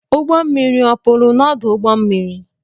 Ụgbọ mmiri ọ pụrụ n’ọdụ ụgbọ mmiri?